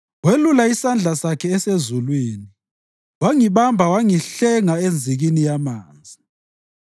Welula isandla Sakhe esezulwini wangibamba wangihlenga enzikini yamanzi.